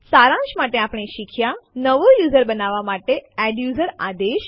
સારાંશ માટે આપણે શીખ્યા નવું યુઝર બનાવવા માટે એડ્યુઝર આદેશ